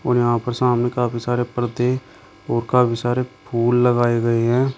और यहां पर सामने काफी सारे पर्दे और काफी सारे फूल लगाए गए हैं।